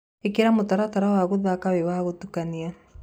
ĩkĩra mũtaratara wa guthaka wi wa gũtukania